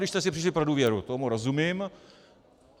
Když jste si přišli pro důvěru, tomu rozumím.